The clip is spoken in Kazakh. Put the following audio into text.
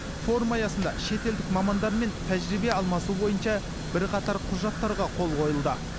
форум аясында шетелдік мамандар мен тәжірибе алмасу бойынша бірқатар құжаттарға қол қойылды